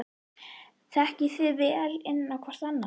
Þekkið þið vel inn á hvorn annan?